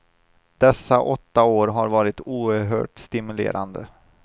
Dessa åtta år har varit oerhört stimulerande.